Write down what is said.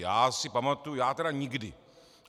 Já si pamatuji - já tedy nikdy.